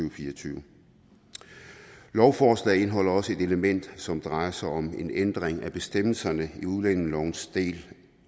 og fire og tyve lovforslaget indeholder også et element som drejer sig om en ændring af bestemmelserne i udlændingelovens del